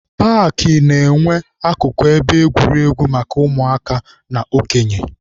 Paakị na-enwe akụkụ ebe egwuregwu maka ụmụaka na okenye.